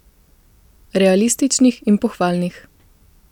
Realističnih in pohvalnih.